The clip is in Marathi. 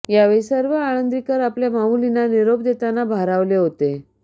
यावेळी सर्व आळंदीकर आपल्या माऊलींना निरोप देताना भारावले होते